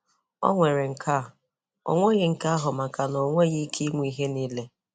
O nwere nke a; o nweghi nke ahụ makana o nweghi ike inwe ihe niile.